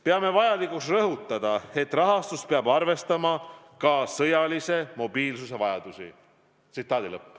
Peame vajalikuks rõhutada, et rahastus peab arvestama ka sõjalise mobiilsuse vajadusi.